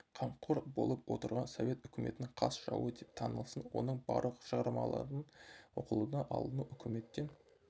қамқор болып отырған совет үкіметінің қас жауы деп танылсын оның барлық шығармаларын оқылудан алыну өкіметтен